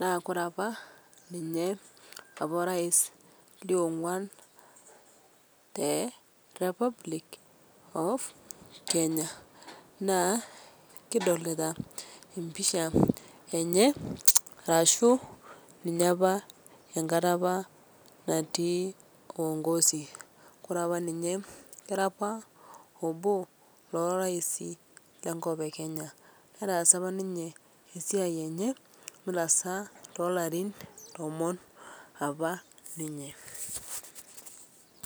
naa kore apa ninye opa rais le ong'uan te Repubic of Kenya, naa kidolita mpishaa enye arashu ninye apaa enkata apaa nati uongozi kore apa ninye kera apa oboo le raisi lenkop e Kenya netaasa apa ninye esiai enye notaasa tolarin tomon apa ninye.